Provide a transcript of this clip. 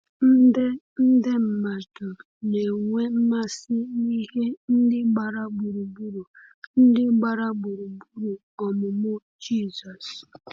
nde nde mmadụ na-enwe mmasị na ihe ndị gbara gburugburu ndị gbara gburugburu ọmụmụ Jizọs.